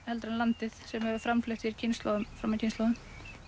heldur en landið sem hefur framfleytt hér kynslóðum fram af kynslóðum